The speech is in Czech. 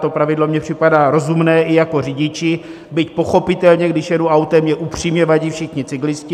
To pravidlo mi připadá rozumné i jako řidiči, byť pochopitelně, když jedu autem, mi upřímně vadí všichni cyklisté.